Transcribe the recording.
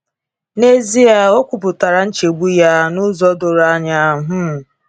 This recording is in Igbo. N’ezie, o kwuputara nchegbu ya n’ụzọ doro anya. um